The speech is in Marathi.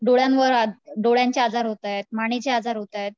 डोळ्यांवर, डोळ्यांचे आजार होत आहेत मानेचे आजार होत आहेत